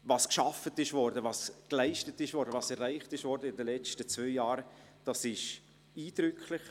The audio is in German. Was in den letzten zwei Jahren geschaffen, geleistet und erreicht worden ist, ist eindrücklich.